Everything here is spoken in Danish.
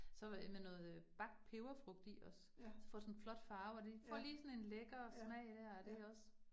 SÅ øh med noget øh bagt peberfrugt i også, så får det sådan en flot farve, og det får lige sådan en lækker smag dér, og det også